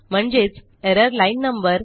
म्हणजेच error line no